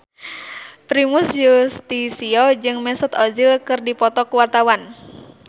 Primus Yustisio jeung Mesut Ozil keur dipoto ku wartawan